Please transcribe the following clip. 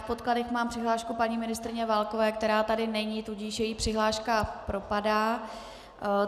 V podkladech mám přihlášku paní ministryně Válkové, která tady není, tudíž její přihláška propadá.